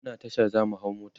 muna Tasha zamu hau mota